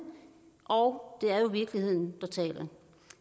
og det er jo virkeligheden der taler